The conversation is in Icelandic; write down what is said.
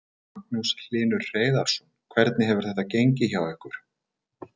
Magnús Hlynur Hreiðarsson: Hvernig hefur þetta gengið hjá ykkur?